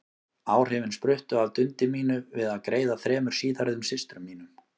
Áhrifin spruttu af dundi mínu við að greiða þremur síðhærðum systrum mínum.